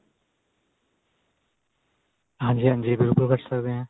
ਹਾਂਜੀ ਹਾਂਜੀ ਬਿਲਕੁਲ ਕਰ ਸਕਦੇ ਆ